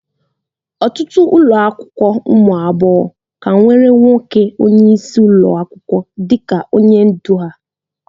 Ọtụtụ ụlọ akwụkwọ ụmụ agbọghọ ka nwere nwoke onyeisi ụlọ akwụkwọ dịka onye ndu ha